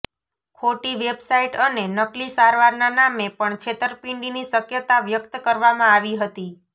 ખોટી વેબસાઇટ અને નકલી સારવારના નામે પણ છેતરપિંડીની શક્યતા વ્યક્ત કરવામાં આવી હતી